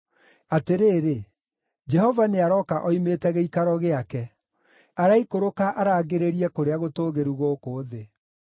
Atĩrĩrĩ! Jehova nĩarooka oimĩte gĩikaro gĩake; araikũrũka arangĩrĩrie kũrĩa gũtũũgĩru gũkũ thĩ.